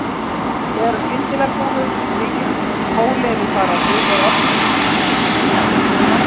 Þegar skyndilega koma upp miklir kólerufaraldrar er orsakarinnar oftast að leita í menguðum vatnsbólum.